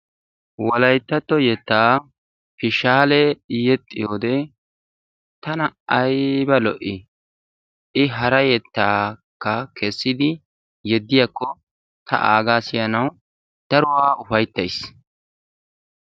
Wolayttatto yeettaa fishshaale yexxiyoode tana ayba lo"ii! i hara yeettaakka keessidi yeediyaako ta aagaa siyanawu daruwaa ufayttays.